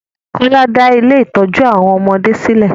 Kọ́lá ń dá ilé-ìtójú àwọn ọmọdé sí lè.